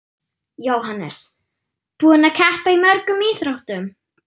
Jóhannes: Búinn að keppa í mörgum íþróttum?